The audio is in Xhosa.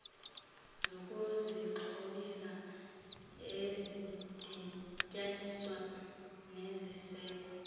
zokuzixhobisa ezidityaniswa nesiseko